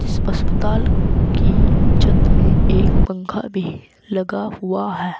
इस अस्पताल की छत में एक पंखा भी लगा हुआ है।